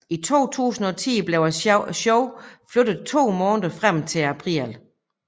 I 2010 blev showet flyttet to måneder frem til april